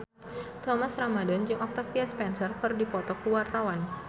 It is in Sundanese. Thomas Ramdhan jeung Octavia Spencer keur dipoto ku wartawan